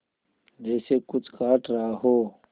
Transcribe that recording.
जैसे कुछ काट रहा हो